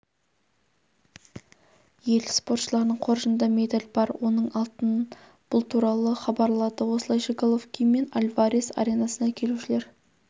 ел спортшыларының қоржынында медаль бар оның алтын бұл туралы хабарлады осылайша головкин мен альварес аренасына келушілер